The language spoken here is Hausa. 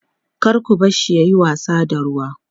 kar ku barshi yayi wasa da ruwa